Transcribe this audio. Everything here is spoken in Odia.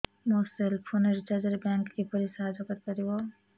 ମୋ ସେଲ୍ ଫୋନ୍ ରିଚାର୍ଜ ରେ ବ୍ୟାଙ୍କ୍ କିପରି ସାହାଯ୍ୟ କରିପାରିବ